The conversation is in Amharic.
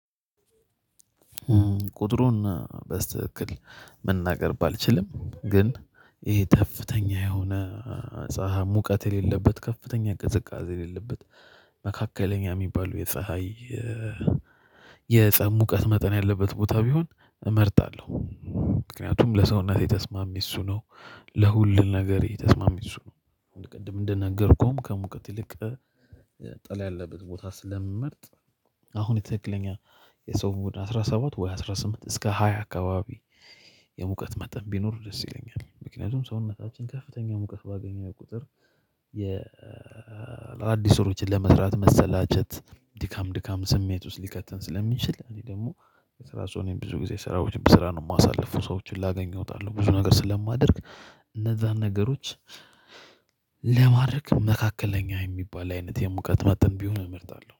ቁጥሩን በስተክል መናገር ባልችልም ግን ይሄ ከፍተኛ የሆነ ፀሀይ ሙቀት የሌለበት ከፍተኛ ቅዝቃዜ የሌለበት መካከለኛ የሚባሉ የፀሀይ የፀሀይ ሙቀት መጠን ያለበት ቦታ ቢሆን እመርጣለሁ። ምክንያቱም ለሰውነቴ ተስማሚ እሱ ነው ለሁሉን ነገር ተስማሚ እሱ ነው። ቅድም እንደነገርኩህም ከሙቀት ይልቅ ጥላ ያለበት ቦታ ስለምመርጥ አሁን የትክክለኛ የሰው ሙቀት ሰባት ወይ አስራ ስምንት እስከ ሃያ አካባቢ የሙቀት መጠን ቢኖሩ ደስ ይለኛል። ምክንያቱም ሰውነታችን ከፍተኛ ሙቀት ባገኘው ቁጥር የ አዲስ ስራዎችን ለመስራት መሰላቸት ድካም ድካም ስሜት ውስጥ ሊከትን ስለሚችል። እኔ ደግሞ የስራ ሰው ነኝ እኔ ብዙ ጊዜ ስራዎች ብስራ ነው የማሳልፉ ሰዎችን ላገኙ እወጣለሁ። ብዙ ነገር ስለማደርግ እነዛን ነገሮች ለማድረግ መካከለኛ የሚባል አይነት የሙቀት መጠን ቢሆን እመርጣለሁ